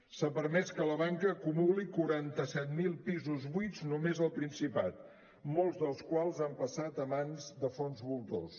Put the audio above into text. s’ha permès que la banca acumuli quaranta set mil pisos buits només al principat molts dels quals han passat a mans de fons voltors